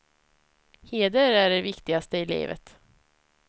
Heder är det viktigaste i livet.